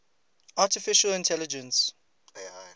artificial intelligence